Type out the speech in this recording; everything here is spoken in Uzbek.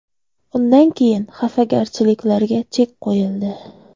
Undan keyin xafagarchiliklarga chek qo‘yildi.